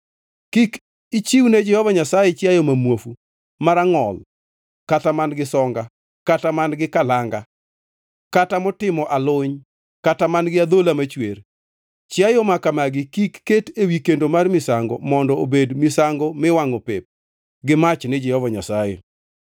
Kik ichiwne Jehova Nyasaye chiayo ma muofu, ma rangʼol kata man-gi songa, kata man-gi kalanga, kata motimo aluny kata man-gi adhola machwer. Chiayo makamagi kik ket ewi kendo mar misango mondo obed misango miwangʼo pep gi mach ni Jehova Nyasaye.